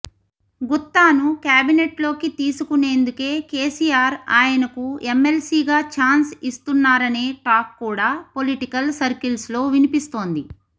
గుత్తాను కేబినెట్లోకి తీసుకునేందుకే కేసీఆర్ ఆయనకు ఎమ్మెల్సీగా ఛాన్స్ ఇస్తున్నారనే టాక్ కూడా పొలిటికల్ సర్కిల్స్లో వినిపిస్తోంది